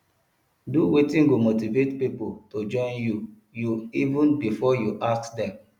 do wetin go motivate pipo to join you you even before you ask dem